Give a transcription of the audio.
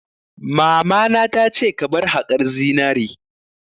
Mamana ta ce 'Ka bar haƙar zinari'!